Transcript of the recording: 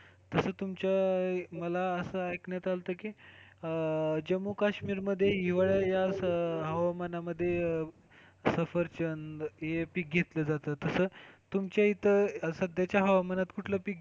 तस तुमच्या मला असं ऐकण्यात आलतं की, जम्मू काश्मीर मध्ये हिवाळ्या या हवामानामध्ये सफरचंद हे पीक घेतलं जातं, तस तुमच्या इथं सध्याच्या हवामानात कुठलं पीक?